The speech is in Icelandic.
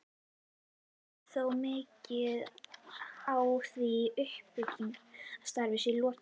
Vantar þó mikið á, að því uppbyggingarstarfi sé lokið.